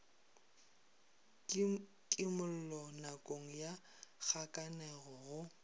kimollo nakong ya kgakanego go